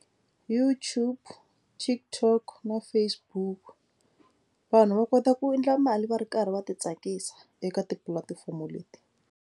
YouTube, TikTok na Facebook vanhu va kota ku endla mali va ri karhi va ti tsakisa eka tipulatifomo leti.